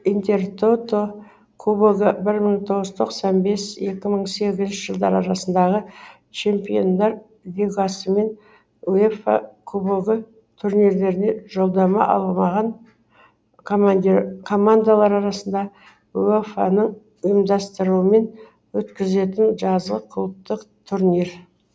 интертото кубогы бір мың тоғыз жүз тоқсан бес екі мың сегізінші жылдар арасындағы чемпиондар лигасы мен уефа кубогы турнирлеріне жолдама алмаған командалар арасында уефа ның ұйымдастыруымен өткізілетін жазғы клубтық турнир